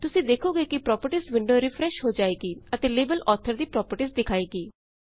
ਤੁਸੀਂ ਦੇਖੋਗੇ ਕਿ ਪ੍ਰੌਪਰਟੀਜ਼ ਵਿੰਡੋ ਰਿਫਰੈੱਸ਼ ਹੋ ਜਾਏਗੀ ਅਤੇ ਲੇਬਲ ਆਥਰ ਦੀ ਪ੍ਰੌਪਰਟੀਜ਼ ਦਿਖਾਵੇਗੀ